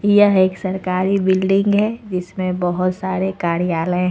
यह एक सरकारी बिल्डिंग है जिसमें बहोत सारे कार्यालय हैं।